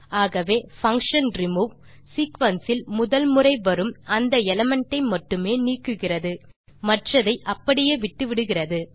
ஆகவே function remove sequence இல் முதல் முறை வரும் அந்த எலிமெண்ட் ஐ மட்டுமே நீக்குகிறது மற்றதை அப்படியே விட்டுவிடுகிறது